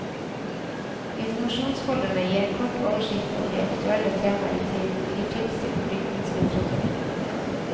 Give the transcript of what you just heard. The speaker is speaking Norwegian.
Informasjonsfolderne gir en kort oversikt over aktuelle temaer i tiden og gir tips til fordypningslitteratur.